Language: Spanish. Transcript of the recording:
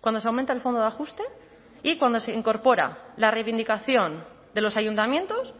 cuando se aumenta el fondo de ajuste y cuando se incorpora la reivindicación de los ayuntamientos